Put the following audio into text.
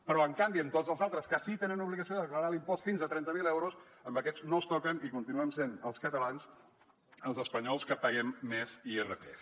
però en canvi a tots els altres que sí que tenen l’obligació de declarar l’impost fins a trenta mil euros a aquests no els toquen i continuem sent els catalans els espanyols que paguem més irpf